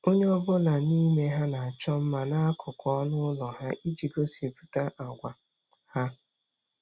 Onye ọ bụla n'ime ha na-achọ mma n'akụkụ ọnụ ụlọ ahụ iji gosipụta àgwà ha.